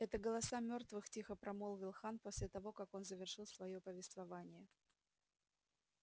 это голоса мёртвых тихо промолвил хан после того как он завершил своё повествование